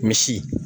Misi